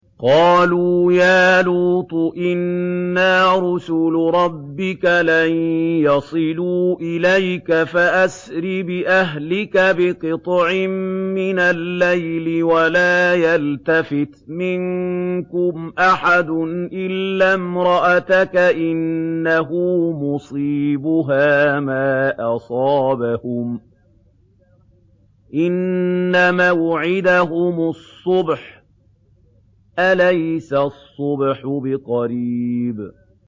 قَالُوا يَا لُوطُ إِنَّا رُسُلُ رَبِّكَ لَن يَصِلُوا إِلَيْكَ ۖ فَأَسْرِ بِأَهْلِكَ بِقِطْعٍ مِّنَ اللَّيْلِ وَلَا يَلْتَفِتْ مِنكُمْ أَحَدٌ إِلَّا امْرَأَتَكَ ۖ إِنَّهُ مُصِيبُهَا مَا أَصَابَهُمْ ۚ إِنَّ مَوْعِدَهُمُ الصُّبْحُ ۚ أَلَيْسَ الصُّبْحُ بِقَرِيبٍ